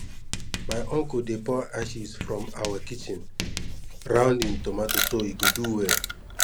my uncle dey pour ashes from awa kitchen round him tomato so e go do well